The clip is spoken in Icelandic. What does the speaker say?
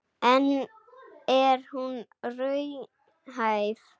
En er hún raunhæf?